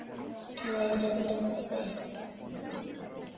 Kæri Tobbi.